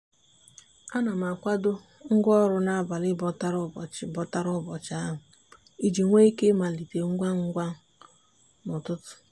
a na m akwado ngwaọrụ n'abalị bọtara ụbọchị bọtara ụbọchị ahụ iji nwee ike ịmalite ngwangwa n'ụtụtụ.